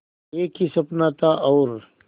एक ही सपना था और